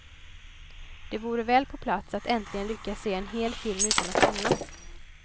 Det vore väl på plats att äntligen lyckas se en hel film utan att somna.